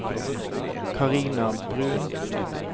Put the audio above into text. Carina Bruun